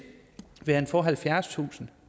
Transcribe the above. vil han få halvfjerdstusind